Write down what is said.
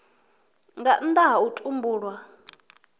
nga nnda ha u tumbulwa